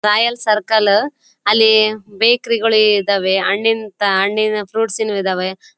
Royal circle ಅಲ್ಲಿ bakery ಗಳು ಇದ್ದವೇ ಹಣ್ಣಿನ ಹಣ್ಣಿನ ಫ್ರುಇಟ್ಸ್ ನು ಇದ್ದಾವೆ.